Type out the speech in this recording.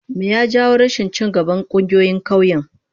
Me ya jawo rashin ci gaban kungiyoyin kauyen?